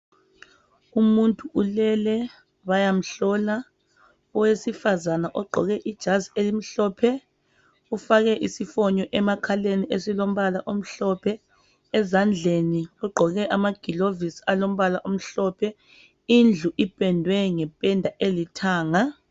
Umuntu ulele bayamhlola. Owesifazana ogqoke ijazi elimhlophe ufake isifonyo emakhaleni esilombala omhlophe ezandleni ugqoke amagilovisi alombala omhlophe indlu ipendwe ngependa elithanga.